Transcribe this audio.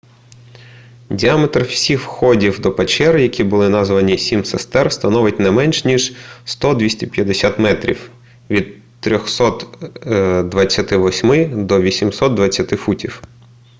діаметр всіх входів до печер які були названі сім сестер становить не менш ніж 100-250 метрів від 328 до 820 футів